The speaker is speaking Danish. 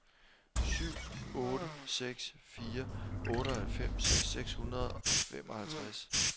syv otte seks fire otteoghalvfems seks hundrede og femoghalvtreds